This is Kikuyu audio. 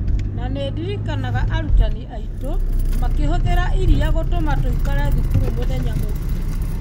Na nĩ ndirikanaga arutani aitũ makĩhũthĩra iria gũtũma tũikare thukuru mũthenya mũgima.